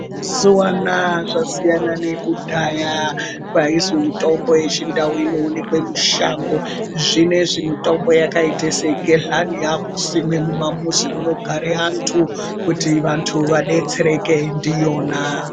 Mazuva anawa kwasiyana nekudhaya kwainzi mitombo yechindau inoonekwa mushango zvinezvi mitombo yakaita segehlani yakusimwa mumamuzi munogara antu kuti antu adetsereke ndiyona.